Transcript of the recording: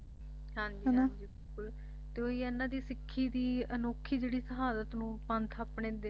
ਹਾਂ ਜੀ ਤੇ ਓਹੀ ਹੈ ਨਾ ਜੇ ਸਿੱਖੀ ਦੀ ਅਨੋਖੀ ਜਿਹੜੀ ਸ਼ਹਾਦਤ ਨੂੰ ਪੰਥ ਆਪਣੀ ਲਿਖੀ ਹੋਈ